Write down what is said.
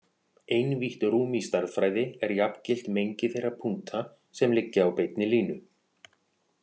Einvítt rúm í stærðfræði er jafngilt mengi þeirra punkta sem liggja á beinni línu.